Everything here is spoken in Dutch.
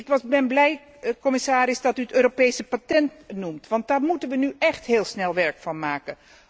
Ik ben blij, commissaris, dat u het Europees patent noemt, want daar moeten we nu echt heel snel werk van maken.